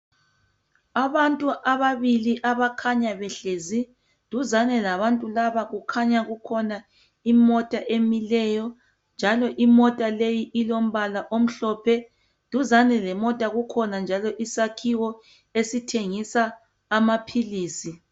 Abantu ababili abakhanya behlezi. Duzane labantu laba kukhona imota emileyo njalo imota leyi ilombala omhlophe. Duzane lemota kukhona njalo isakhiwo esithengisa amaphilisi.